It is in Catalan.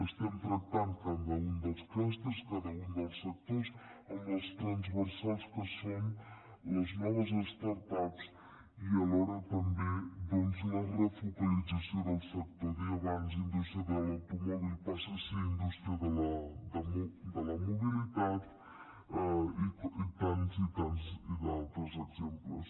estem tractant cada un dels clústers cada un dels sectors amb les tranversals que són les noves start ups i alhora també doncs la refocalització del sector deia abans que la indústria de l’automòbil passa a ser indústria de la mobilitat i tants i tants d’altres exemples